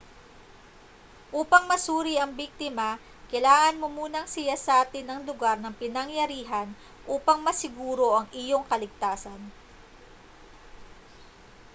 upang masuri ang biktima kailangan mo munang siyasatin ang lugar ng pinangyarihan upang masiguro ang iyong kaligtasan